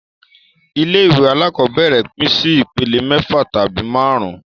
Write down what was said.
Ilé ìwé alákọ́bẹ̀rẹ̀ pín sí ìpele mẹ́fà tabi máàrún